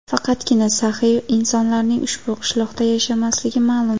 Faqatgina saxiy insonlarning ushbu qishloqda yashamasligi ma’lum.